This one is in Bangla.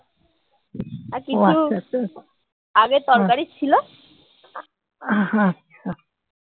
হুম আচ্ছা